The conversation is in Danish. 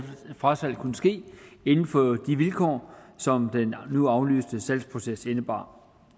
frasalget kunne ske inden for de vilkår som den nu aflyste salgsproces indebar